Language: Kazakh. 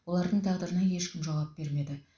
олардың тағдырына ешкім жауап бермеді